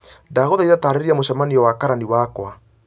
ndagũthaitha taarĩria mũcemanio na karani wakwa